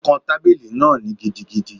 O kán tábìlì náà gidigidi